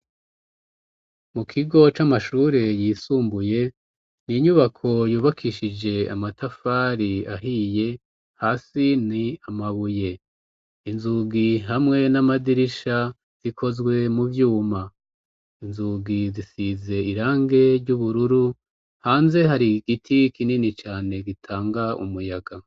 Mu kigo c'amashure yisumbuye ninyubako yubakishije amatafari ahiye hasi ni amabuye inzugi hamwe n'amadirisha zikozwe mu vyuma inzugi zisize irange ry'ubururu hanze harig tiiki inini cane gitanga umuyaga.